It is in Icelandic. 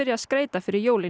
að skreyta fyrir jólin